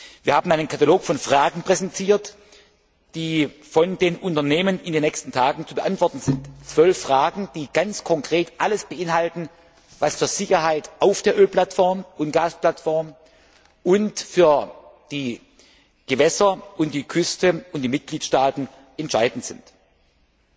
Wir haben einen Katalog von Fragen präsentiert, die von den Unternehmen in den nächsten Tagen zu beantworten sind 12 Fragen, die ganz konkret alles beinhalten, was für die Sicherheit auf der Ölplattform und Gasplattform und für die Gewässer und die Küste und die Mitgliedstaaten entscheidend ist.